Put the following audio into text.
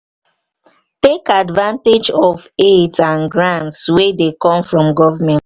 take advantage of aids and grants wey dey come from government